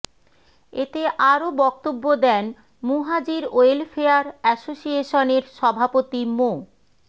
এতে আরও বক্তব্য দেন মুহাজির ওয়েলফেয়ার এসোসিয়েশনের সভাপতি মো